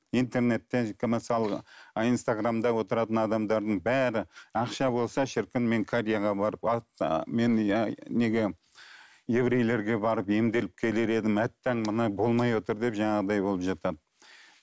интернеттен мысалы инстаграмда отыратын адамдардың бәрі ақша болса шіркін мен кореяға барып мен иә неге еврейлерге барып емделіп келер едім әттең мына болмай отыр деп жаңағыдай болып жатады